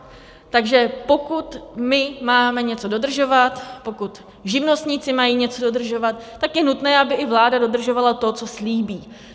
Takže pokud my máme něco dodržovat, pokud živnostníci mají něco dodržovat, tak je nutné, aby i vláda dodržovala to, co slíbí.